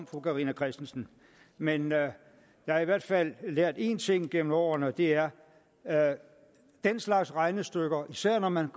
fru carina christensen men jeg har i hvert fald lært én ting gennem årene og det er er at den slags regnestykker især når man